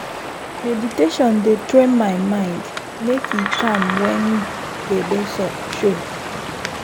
meditation dey train my mind make e calm when gbege show.